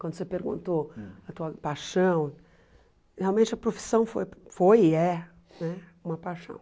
Quando você perguntou a tua paixão, realmente a profissão foi foi e é né uma paixão.